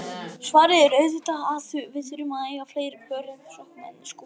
Svarið er auðvitað að við þurfum að eiga fleiri pör af sokkum en skúffur.